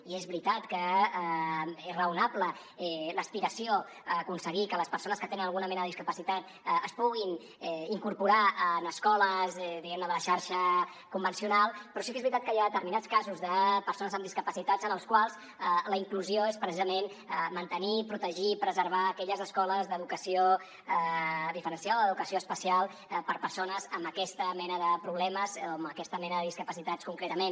i és veritat que és raonable l’aspiració a aconseguir que les persones que tenen alguna mena de discapacitat es puguin incorporar en escoles de la xarxa convencional però sí que és veritat que hi ha determinats casos de persones amb discapacitats en els quals la inclusió és precisament mantenir protegir i preservar aquelles escoles d’educació diferenciada o d’educació especial per a persones amb aquesta mena de problemes o amb aquesta mena de discapacitats concretament